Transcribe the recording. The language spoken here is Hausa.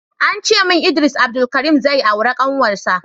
Ancemin Idris Abdulkarim zai aura kanwarsa